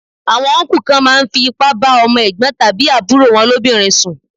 Àwọn Ọnkú kan máa ń fi ipá bá ọmọ Ẹ̀gbọ́n tàbí àbúrò wọn lóbìnrin sùn.